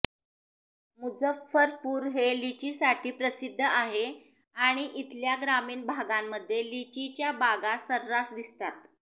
मुझफ्फरपूर हे लिचीसाठी प्रसिद्ध आहे आणि इथल्या ग्रामीण भागांमध्ये लिचीच्या बागा सर्रास दिसतात